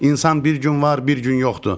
İnsan bir gün var, bir gün yoxdur.